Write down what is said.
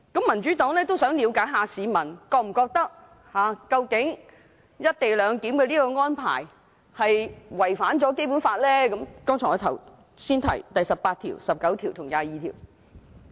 民主黨都想了解市民是否覺得，"一地兩檢"安排違反我剛才提到的《基本法》第十八條、第十九條和第二十二條。